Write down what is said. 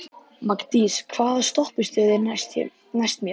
Magndís, hvaða stoppistöð er næst mér?